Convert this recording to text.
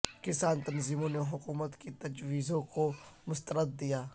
کسان تنظیموں نے حکومت کی تجویزوں کو مسترد دیا